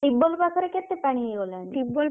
Tubewell ପାଖରେ କେତେ ପାଣି ହେଇଗଲାଣି?